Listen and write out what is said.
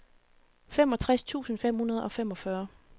femogtres tusind fem hundrede og femogfyrre